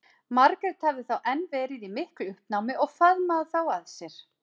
Margrét hafði þá enn verið í miklu uppnámi og faðmað þá að sér.